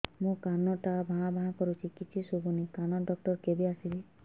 ମୋ କାନ ଟା ଭାଁ ଭାଁ କରୁଛି କିଛି ଶୁଭୁନି କାନ ଡକ୍ଟର କେବେ ଆସିବେ